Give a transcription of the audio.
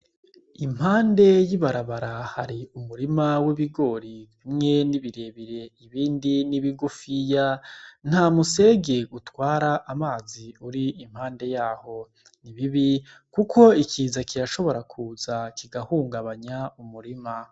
Impande y'ibarabara hari umurima w'ibigori, bimwe ni bire bire ibindi ni bigufiya, nta musege utwara amazi uri impande yaho. Ni bibi kuko ikiza kirashobora kuza kigahungabanya umurima.